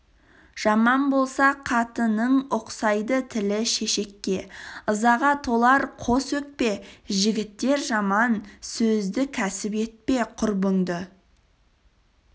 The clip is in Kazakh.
жаман болса қатының ұқсайды тілі шешекке ызаға толар қос өкпе жігіттер жаман сөзді кәсіп етпе құрбыңды